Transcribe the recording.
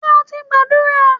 Ṣé o ti gbàdúrà?